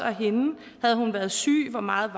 havde hun været syg hvor meget